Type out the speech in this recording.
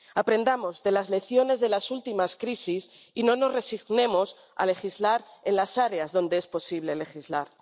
Aprendamos de las lecciones de las últimas crisis y no nos resignemos a legislar en las áreas donde es posible legislar.